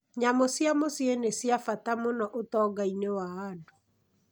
Nyamũ cia mũciĩ nĩ cia bata mũno ũtonga-inĩ wa andũ.